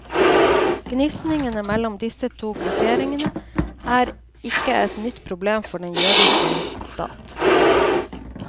Gnisningen mellom disse to grupperingene er ikke et nytt problem for den jødiske stat.